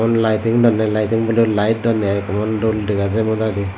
liting dondey liting boley lite dondey i emon dol dega jaai modadi.